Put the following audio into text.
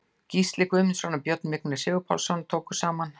Gils Guðmundsson og Björn Vignir Sigurpálsson tóku saman.